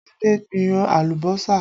Adé gbìn alùbọ́sà